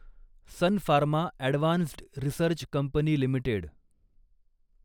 sun Pharma advanced research company limited